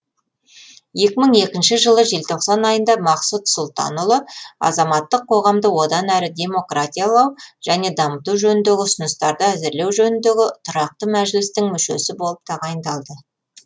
екі мың екінші жылы желтоқсан айында мақсұт сұлтанұлы азаматтық қоғамды одан әрі демократиялау және дамыту жөніндегі ұсыныстарды әзірлеу жөніндегі тұрақты мәжілістің мүшесі болып тағайындалды